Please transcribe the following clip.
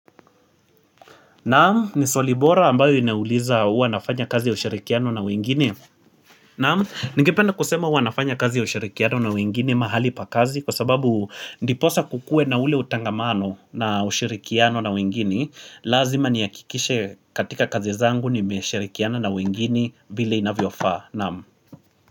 Naam, ni swali bora ambayo inauliza huwa nafanya kazi ya ushirikiano na wengine. Naam, ningependa kusema huwa nafanya kazi ya ushirikiano na wengine mahali pa kazi kwa sababu ndiposa kukue na ule utangamano na ushirikiano na wengine lazima nihakikishe katika kazi zangu nimeshirikiana na wengine vile inavyo faa. Naam.